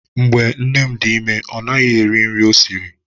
Mgbe nne m dị ime, ọ naghị eri nri ọ sịrị.